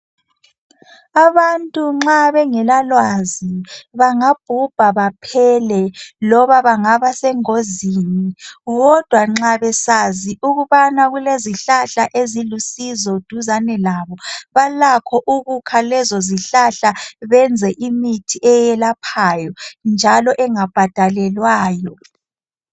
Abantu nxa bengela lwazi bangabhubha baphele loba bangaba sengozini kodwa nxa besazi ukubana kulezihlahla ezilusizo duzane labo balakho ukukha lezo zihlahla benze imithi eyelaphayo njalo engabhadalelwayo